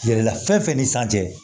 Yɛlɛla fɛn fɛn ni sanfɛ